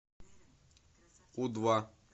у два